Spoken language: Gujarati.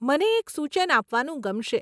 મને એક સૂચન આપવાનું ગમશે.